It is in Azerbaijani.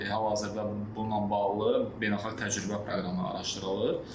Hal-hazırda bununla bağlı beynəlxalq təcrübə proqramı araşdırılır.